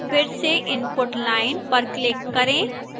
फिर से input line पर click करें